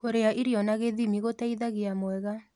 Kũrĩa irio na gĩthĩmĩ gũteĩthagĩa mwega